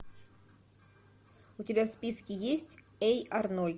у тебя в списке есть эй арнольд